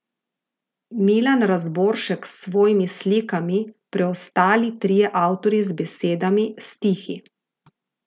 Milan Razboršek s svojimi slikami, preostali trije avtorji z besedami, stihi.